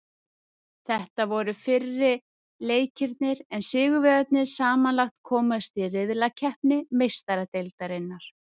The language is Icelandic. Þetta voru fyrri leikirnir en sigurvegararnir samanlagt komast í riðlakeppni Meistaradeildarinnar.